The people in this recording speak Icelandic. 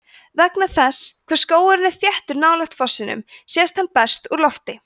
vegna þess hve skógurinn er þéttur nálægt fossinum sést hann best úr lofti